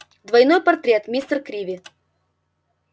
двойной портрет мистер криви